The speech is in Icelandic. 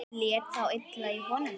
Lét þá illa í honum.